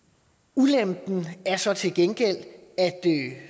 ulempen er så til gengæld at